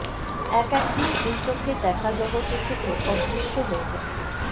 এক একদিন এই চোখে দেখা জগতে থেকে অদৃশ্য হয়ে যায়